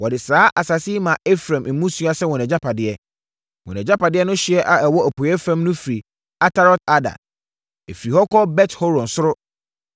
Wɔde saa asase yi maa Efraim mmusua sɛ wɔn agyapadeɛ. Wɔn agyapadeɛ no ɛhyeɛ a ɛwɔ apueeɛ fam no firi Atarot-Adar. Ɛfiri hɔ kɔ Bet-Horon Soro,